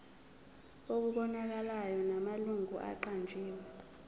okubonakalayo namalungu aqanjiwe